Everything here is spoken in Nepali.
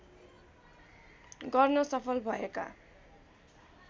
गर्न सफल भएका